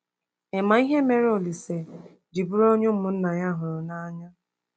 Ị̀ ma ihe mere Olise ji bụrụ onye ụmụnna ya hụrụ n’anya?